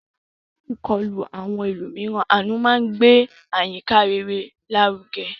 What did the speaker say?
Yẹra fún ìkọlù àwọn ẹlòmíràn; àánú máa ń gbé àyíká rere lárugẹ.